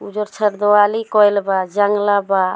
उजर छर देवाली कइल बा जंगला बा।